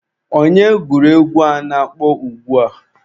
Onye gụrụ egwu a na-akpọ ugbua?